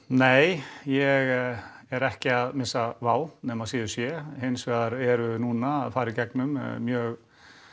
nei ég er ekki að missa nema síður sé hins vegar erum við núna að fara í gegnum mjög